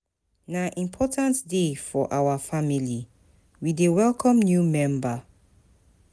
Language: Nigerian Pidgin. Na important day for our family, we dey welcome new member.